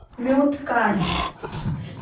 mute काढ